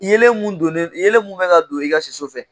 Yeleen mun don ne, yeleen mun bɛ ka don i ka si so fɛ.